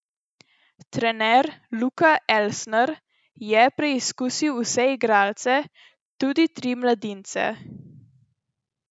Trener Luka Elsner je preizkusil vse igralce, tudi tri mladince.